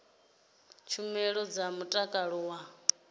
na tshumelo dza mutakalo wa